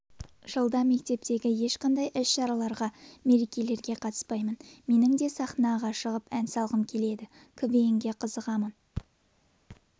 жылда мектептегі ешқандай іс-шараларға меркелерге қатыспаймын менің де саханаға шығып ән салғым келеді квн-ға қызығамын